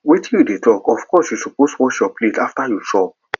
wetin you dey talk of course you suppose wash your plate after you chop